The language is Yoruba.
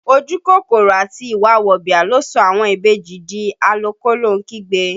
Ojú kòkòrò àti ìwà wọ̀bìà ló sọ àwọn ìbejì di a lọ kólóhun kígbe